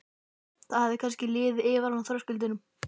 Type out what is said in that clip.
Það hefði kannski liðið yfir hana á þröskuldinum.